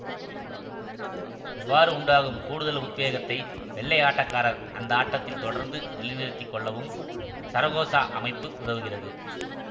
இவ்வாறு உண்டாகும் கூடுதல் உத்வேகத்தை வெள்ளை ஆட்டக்காரர் அந்த ஆட்டத்தில் தொடர்ந்து நிலைநிறுத்திக் கொள்ளவும் சரகோசா அமைப்பு உதவுகிறது